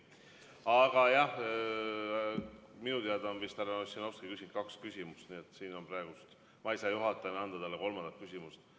Aga jah, minu teada on härra Ossinovski küsinud kaks küsimust, nii et siin on praegu nii, et ma ei saa juhatajana anda talle kolmandat küsimust.